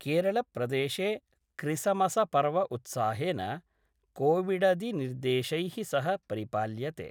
केरलप्रदेशे क्रिसमस पर्व उत्साहेन कोविडदिनिर्देशैः सह परिपाल्यते।